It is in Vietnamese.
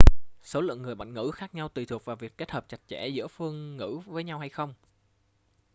số lượng người bản ngữ khác nhau tùy thuộc vào việc kết hợp chặt chẽ giữa các phương ngữ với nhau hay không